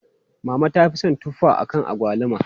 Mama ta fi son tuffa akan agwaluma.